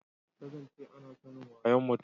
ta zance ana sanin wayon mutum